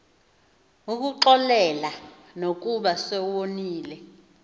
ukuxolela nokuba sewoniwe